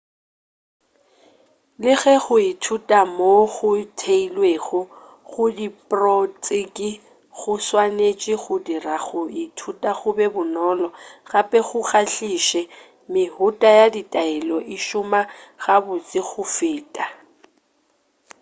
le ge go ithuta moo go theilwego go diprotšeke go swanetše go dira go ithuta go be bonolo gape go kgahliše mehuta ya ditaelo e šoma gabotse go feta